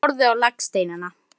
Frelsi er að segja Nei!